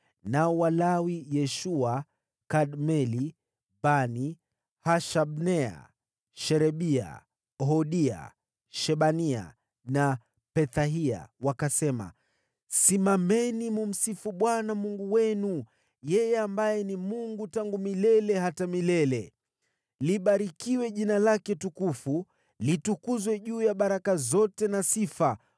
Nao Walawi Yeshua, Kadmieli, Bani, Hashabnea, Sherebia, Hodia, Shebania na Pethahia wakasema: “Simameni mkamsifu Bwana Mungu wenu, yeye ambaye ni Mungu tangu milele hata milele. “Libarikiwe jina lake tukufu, litukuzwe juu ya baraka zote na sifa.